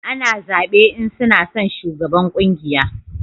A na zabe in suna son shugaban ƙungiya